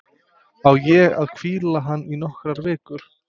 Á ég að hvíla hann í nokkrar vikur?